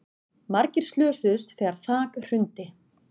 Margir slösuðust þegar þak hrundi